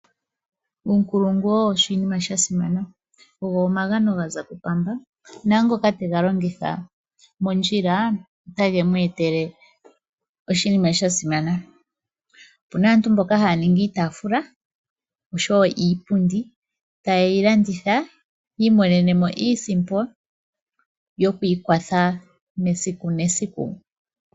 Uunkulungu owo oshinima sha simana. Ogo omagano ga za kuPamba naangoka tega longitha mondjila otage mu etele oshinima sha simana. Opu na aantu mboka haya ningi iitafula osho wo iipundi ta yeyi landitha yi imonene mo iisimpo yokwiikwatha mesiku mesiku.